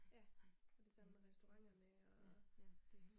Ja. Og det samme med restauranterne og